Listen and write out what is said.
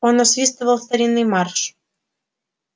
он насвистывал старинный марш